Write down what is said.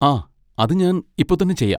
ആ, അത് ഞാൻ ഇപ്പോ തന്നെ ചെയ്യാം.